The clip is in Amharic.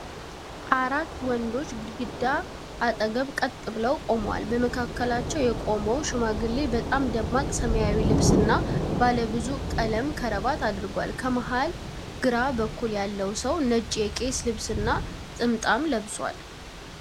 አራት ወንዶች ግድግዳ አጠገብ ቀጥ ብለው ቆመዋል፤ በመካከላቸው የቆመው ሽማግሌ በጣም ደማቅ ሰማያዊ ልብስ እና ባለ ብዙ ቀለም ክራባት አድርጓል። ከመሀል ግራ በኩል ያለው ሰው ነጭ የቄስ ልብስ እና ጥምጣም ለብሷል፡፡